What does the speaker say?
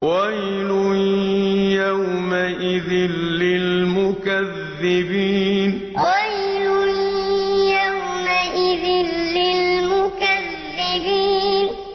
وَيْلٌ يَوْمَئِذٍ لِّلْمُكَذِّبِينَ وَيْلٌ يَوْمَئِذٍ لِّلْمُكَذِّبِينَ